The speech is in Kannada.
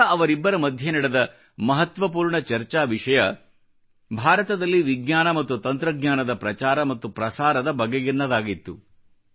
ಆಗ ಅವರಿಬ್ಬರ ಮಧ್ಯೆ ನಡೆದ ಮಹತ್ವಪೂರ್ಣ ಚರ್ಚಾ ವಿಷಯ ಭಾರತದಲ್ಲಿ ವಿಜ್ಞಾನ ಮತ್ತು ತಂತ್ರಜ್ಞಾನದ ಪ್ರಚಾರ ಮತ್ತು ಪ್ರಸಾರದ ಬಗೆಗಿನದಾಗಿತ್ತು